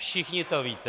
Všichni to víte.